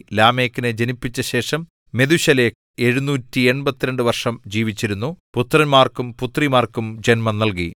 ലാമെക്കിനെ ജനിപ്പിച്ച ശേഷം മെഥൂശലഹ് 782 വർഷം ജീവിച്ചിരുന്നു പുത്രന്മാർക്കും പുത്രിമാർക്കും ജന്മം നൽകി